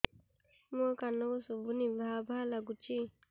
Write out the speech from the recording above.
ମୋ କାନକୁ ଶୁଭୁନି ଭା ଭା ଲାଗୁଚି